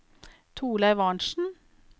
Torleiv Arntsen